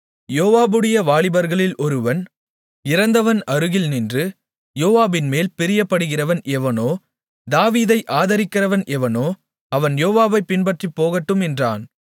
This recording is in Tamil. யோவாபுடைய வாலிபர்களில் ஒருவன் இறந்தவன் அருகில் நின்று யோவாபின்மேல் பிரியப்படுகிறவன் எவனோ தாவீதை ஆதரிக்கிறவன் எவனோ அவன் யோவாபைப் பின்பற்றிப்போகட்டும் என்றான்